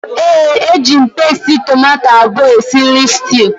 ee, eji m pasti tomato abụọ esi nri stew